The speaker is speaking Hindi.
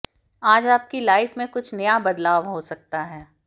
आज आपकी लाइफ में कुछ नया बदलाव हो सकता है